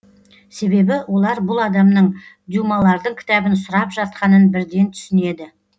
себебі олар бұл адамның дюмалардың кітабын сұрап жатқанын бірден түсінеді